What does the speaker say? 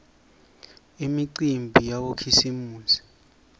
imicimbi yabokhisimusi